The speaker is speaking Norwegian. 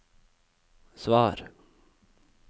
svar